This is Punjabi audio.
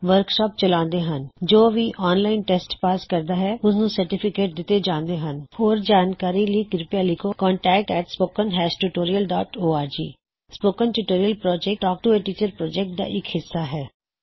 ਵਰਕਸ਼ਾਪਸ ਚਲਾਉੰਦੇ ਹਨ 09540956 001004 ਹੋਰ ਜਾਣਕਾਰੀ ਲਈ ਕਿਰਪਿਆ ਲਿਖੋ contactspoken tutorialorg spoken tutorial project talk to a teacher project ਦਾ ਇਕ ਹਿੱਸਾ ਹੈ